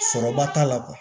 Sɔrɔba t'a la